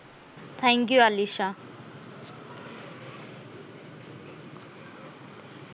thank you Alisha